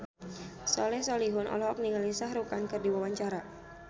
Soleh Solihun olohok ningali Shah Rukh Khan keur diwawancara